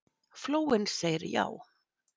Flóinn segir já